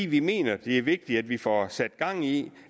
vi mener det er vigtigt at vi får sat gang i